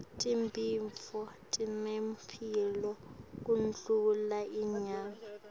tibhidvo tinemphilo kundlula inyama